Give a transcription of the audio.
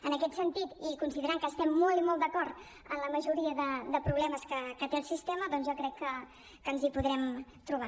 en aquest sentit i considerant que estem molt i molt d’acord en la majoria de problemes que té el sistema jo crec que ens hi podrem trobar